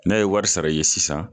N'a ye wari sara ye sisan